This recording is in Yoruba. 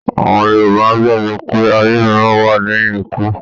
Àwọn Yorùbá gbàgbọ́ pé ayé mìíràn wá lẹ́yìn ikú